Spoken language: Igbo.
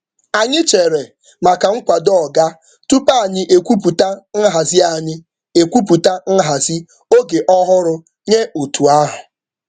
Anyị chere um maka nkwado oga um tupu anyị ekwupụta nhazi oge ọhụrụ nye otu ahụ.